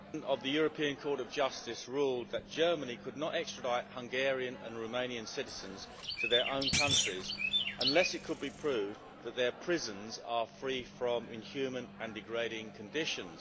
of the European Court of Justice ruled that Germany could not extradite Hungarian and Romanian citizens to their own countries unless it could be proved that their prisons are free from inhuman and degrading conditions.